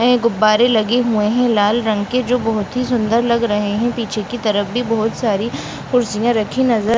नए गुब्बारे लगे हुए हैं लाल रंग के जो बहुत ही सुन्दर लग रहें हैं पीछे की तरफ भी बहुत सारी कुर्सियाँ रखी नज़र --